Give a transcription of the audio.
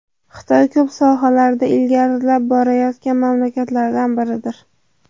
Xitoy ko‘p sohalarda ilgarilab borayotgan mamlakatlardan biridir.